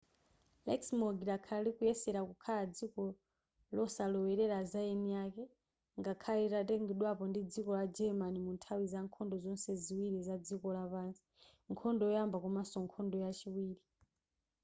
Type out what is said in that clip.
luxembourg lakhala likuyesera kukhala dziko losalowelera zaeniake ngakhale lidatengedwapo ndi dziko la german munthawi zankhondo zonse ziwiri zadziko lapansi nkhondo yoyamba komaso nkhondo yachiwiri